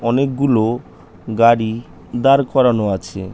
অনেকগুলো গাড়ি দাঁড় করানো করানো আছে।